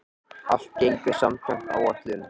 Allt gengur samkvæmt áætlun